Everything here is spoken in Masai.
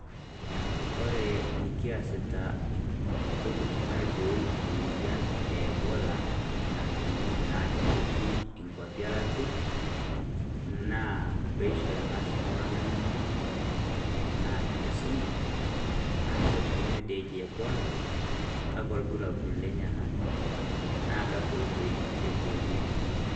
Kore nikiasita puukutum aibooyi emoyian e ebola natuning'oki naa ajo ketii enkwapi elaatia, naa peishore ng'as ltung'ana ng'eno naa enkisuma ajoo kanyoo dee eji ebola kaakwa lburaburr lenyana naa kwakwa otoi aiboreeki.